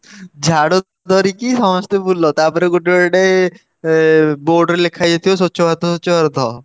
ବୁଲାହବନି ଝାଡୁ ଧରିକି ସମସ୍ତେ ବୁଲ ତାପରେ ଗୋଟେ ଗୋଟେ ଏ board ରେ ଲେଖା ହେଇଯାଇଥିବ ସ୍ୱଛ ଭାରତ ସ୍ୱଛ ଭାରତ।